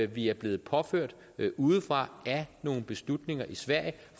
vi er blevet påført udefra af nogle beslutninger i sverige